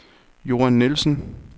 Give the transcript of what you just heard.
Johan Nielsen